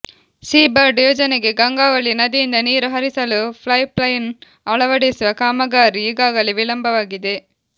Seabird ಯೋಜನೆಗೆ ಗಂಗಾವಳಿ ನದಿಯಿಂದ ನೀರು ಹರಿಸಲು ಪೈಪ್ಲೈನ್ ಅಳವಡಿಸುವ ಕಾಮಗಾರಿ ಈಗಾಗಲೇ ವಿಳಂಬವಾಗಿದೆ